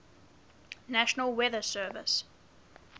national weather service